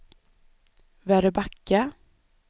Väröbacka